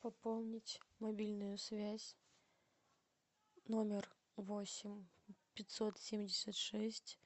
пополнить мобильную связь номер восемь пятьсот семьдесят шесть